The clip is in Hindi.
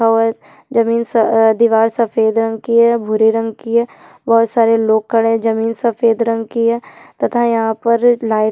और जमीन स आ दिवार सफेद रंग कि है भुरे रंग कि है बहोत सारे लोग खड़े है जमीन सफेद रंग कि है तथा यहाँ पर लाईट --